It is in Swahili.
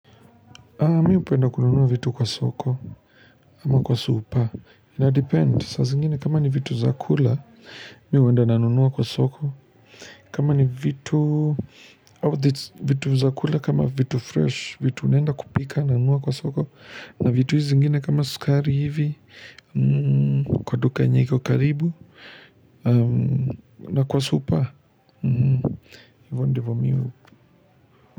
Mimi hupenda kununua vitu kwa soko, ama kwa supa, ina depend, saa zingine kama ni vitu zakula, mimi huenda nanunuwa kwa soko, kama ni vitu zakula kama vitu fresh, vitu unenda kupika nanunua kwa soko, na vitu hizi zingine kama skari hivi, kwa duka yenye iko karibu, na kwa supa, hivyo ndivo miu.